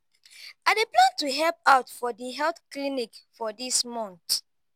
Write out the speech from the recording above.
i dey plan to help out for di health clinic for dis month.